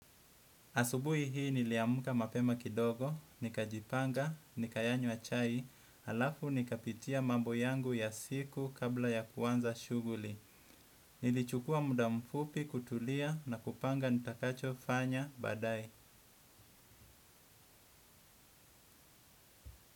Asubuhi hii niliamka mapema kidogo, nikajipanga, nikayanywa chai, alafu nikapitia mambo yangu ya siku kabla ya kuanza shughuli. Nilichukua muda mfupi kutulia na kupanga nitakachofanya baadae.